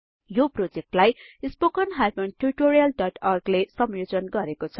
यो प्रोजेक्टलाई spoken tutorialओर्ग ले संयोजन गरेको छ